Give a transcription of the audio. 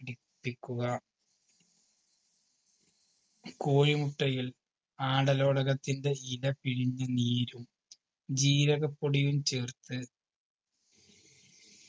പിടിപ്പിക്കുക കോയിമുട്ടയിൽ ആടലോടകത്തിൻറെ ഇല പിഴിഞ്ഞ് നീരും ജീരകപ്പൊടിയും ചേർത്ത്